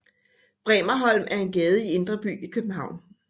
Bremerholm er en gade i Indre By i København